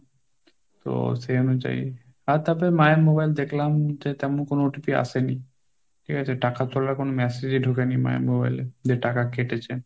তো সেই অনুযায়ী আর তাতে মায়ের mobile দেখলাম যে তেমন কোনো OTP আসেনি, ঠিক আছে টাকা তোলার কোনো massage এ ঢুকেনি মায়ের mobile এ যে টাকা কেটেছে।